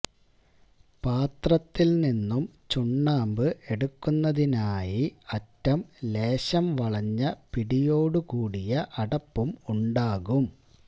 പാത്രത്തിൽ നിന്നും ചുണ്ണാമ്പ് എടുക്കുന്നതിനായി അറ്റം ലേശം വളഞ്ഞ പിടിയോടു കൂടിയ അടപ്പും ഉണ്ടാകും